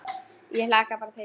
Ég hlakka bara til